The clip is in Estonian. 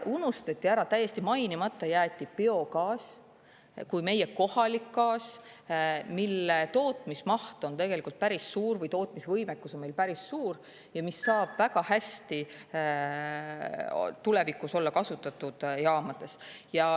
Unustati ära, täiesti mainimata jäeti biogaas kui meie kohalik gaas, mille tootmismaht on tegelikult päris suur või tootmisvõimekus on meil päris suur ja mis saab väga hästi tulevikus olla kasutatud jaamades.